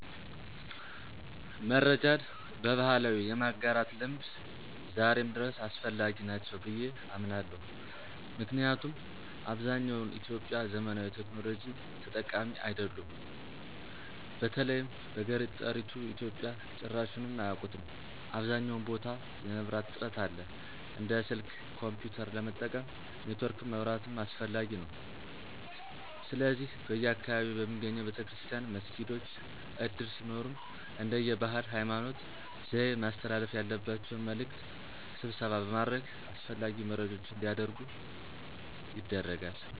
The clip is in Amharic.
መረጃን በባህላዊ የማጋራት ልምድ ዛሬም ድረስ አስፈላጊ ናቸው ብየ አምናለሁ። ምክንያቱም አብዛኛውን ኢትዮጵያዊ ዘመናዊ ቴክኖሎጂ ተጠቃሚ አይደሉም። በተለይም በገጠሪቱ ኢትዮጵያ ጭራሹንም አያቁትም .አብዛኛውን ቦታ የመብራት እጥረት አለ። እንደ ስልክ፣ ኮንፒዩተር ለመጠቀም ኔትወርክም መብራትም አስፈላጊ ነዉ። ስለዚህ በየአካባቢያቸው በሚገኘው ቤተክርስቲያን፣ መስጊዶች፣ እድር ሲኖርም እንደየ ባህል፣ ሀይማኖት፣ ዘዬ ማስተላለፍ ያለባቸውን መልዕክት ስብሰባ በማድረግ አስፈላጊ መረጃዎች አንዲያደርጉ ይደረጋል።